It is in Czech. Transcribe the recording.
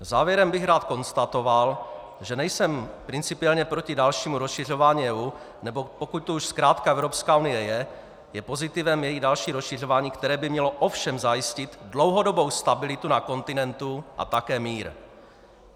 Závěrem bych rád konstatoval, že nejsem principiálně proti dalšímu rozšiřování EU, nebo pokud tu už zkrátka Evropská unie je, je pozitivem její další rozšiřování, které by mělo ovšem zajistit dlouhodobou stabilitu na kontinentu a také mír.